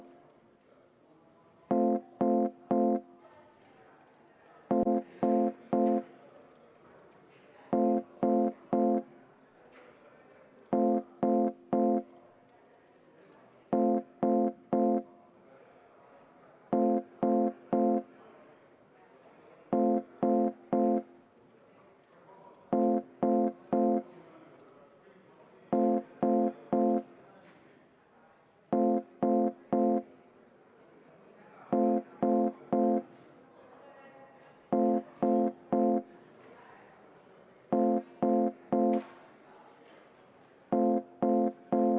Lähtudes analoogiast ma täpselt samamoodi kuulutan praegu välja vaheaja 20 minutit, et kõik Riigikogu liikmed saaksid võimalikult kiirelt vastuse sellele küsimusele.